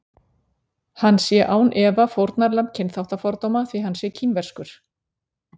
Hann sé án efa fórnarlamb kynþáttafordóma því hann sé kínverskur.